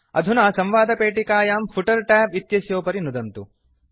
अधुना संवादपेटिकायां footer tab इत्यस्योपरि नुदन्तु